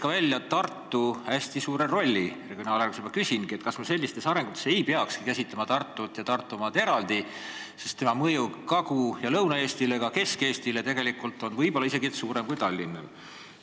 Sa rääkisid Tartu hästi suurest rollist regionaalarengus ja ma küsin, kas me ei peakski käsitlema Tartut ja Tartumaad eraldi, sest tema mõju Kagu- ja Lõuna-Eestile, isegi Kesk-Eestile võib olla isegi suurem kui Tallinnal.